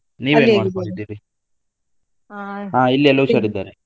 ಹಾ ಇಲ್ಲಿ ಎಲ್ಲಾ ಹುಷಾರಿದ್ದಾರೆ.